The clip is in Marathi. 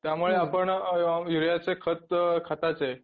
त्यामुळे आपण युरियाचे खत खताचे